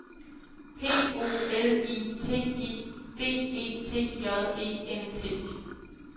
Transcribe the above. P O L I T I B E T J E N T